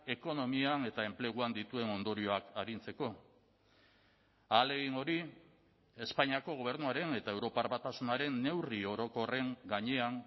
ekonomian eta enpleguan dituen ondorioak arintzeko ahalegin hori espainiako gobernuaren eta europar batasunaren neurri orokorren gainean